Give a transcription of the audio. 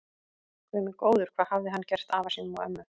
Guð minn góður, hvað hafði hann gert afa sínum og ömmu.